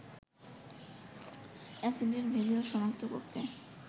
অ্যাসিডের ভেজাল শনাক্ত করতে